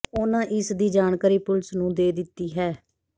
ਉਨ੍ਹਾਂ ਇਸ ਦੀ ਜਾਣਕਾਰੀ ਪੁਲੀਸ ਨੂੰ ਦੇ ਦਿੱਤੀ ਹੈ